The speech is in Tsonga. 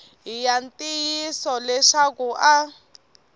hi ya ntiyiso leswaku a